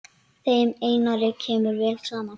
Þeim Einari kemur vel saman.